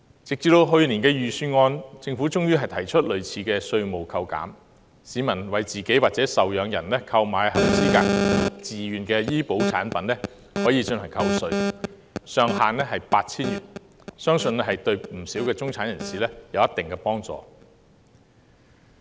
直至去年的預算案，政府終於提出類似的稅務扣減，市民為自己或受養人購買合資格自願醫保產品可作扣稅，上限為 8,000 元，相信對不少中產人士有一定幫助。